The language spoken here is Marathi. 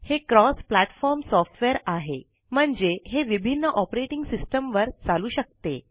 हे क्रॉस प्लाटफोर्म सोफ्टवेर आहे म्हणजे हे विभिन्न ऑपरेटिंग सिस्टम वर चालू शकते